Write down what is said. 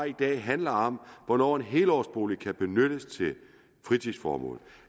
i dag handler om hvornår en helårsbolig kan benyttes til fritidsformål